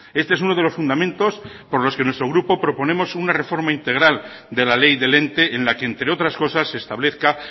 este es uno de los fundamentos por los que nuestro grupo proponemos una reforma integral de la ley del ente en la que entre otras cosas se establezca